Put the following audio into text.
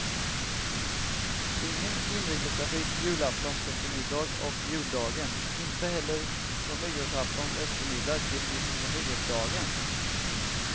Ingen inrikestrafik julaftons eftermiddag och juldagen, inte heller från nyårsaftons eftermiddag till mitt på nyårsdagen.